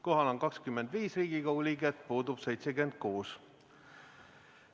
Kohal on 25 Riigikogu liiget, puudub 76.